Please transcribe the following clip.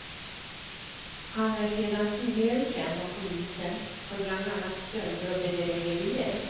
Han är sedan tidigare känd av polisen för bland annat stölder och bedrägerier.